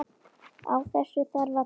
Á þessu þarf að taka.